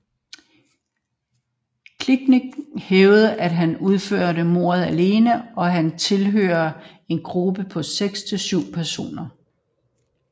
Kilinc hævdede at han udførte mordet alene og han tilhørte en gruppe på 6 til 7 personer